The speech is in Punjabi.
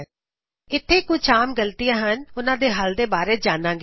ਹੁਣ ਅਸੀ ਇਥੇ ਕੁਛ ਆਮ ਗਲਤੀਆ ਅਤੇ ਉਹਨਾ ਦੇ ਹੱਲ ਬਾਰੇ ਜਾਨਾਂ ਗੇ